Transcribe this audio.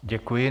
Děkuji.